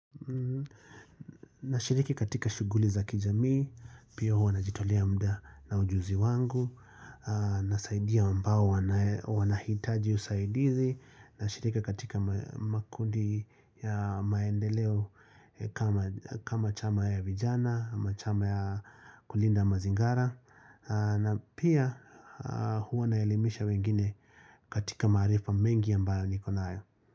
Nashiriki katika shughuli za kijamii, pia huwa najitolea muda na ujuzi wangu, nasaidia ambao wanahitaji usaidizi, nashiriki katika makundi ya maendeleo, kama kama chama ya vijana, ama chama ya kulinda ya mazingara, na pia Huwa naelimisha wengine katika maarifa mengi ambayo niko nayo.